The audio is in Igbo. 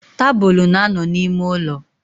Tabulu na-ano n'ime ulo.